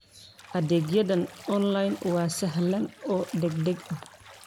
Adeegyada online waa sahlan oo degdeg ah.